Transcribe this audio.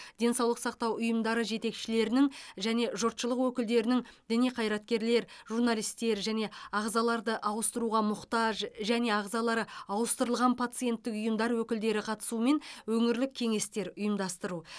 денсаулық сақтау ұйымдары жетекшілерінің және жұртшылық өкілдерінің діни қайраткерлер журналистер және ағзаларды ауыстыруға мұқтаж және ағзалары ауыстырылған пациенттік ұйымдар өкілдері қатысуымен өңірлік кеңестер ұйымдастыру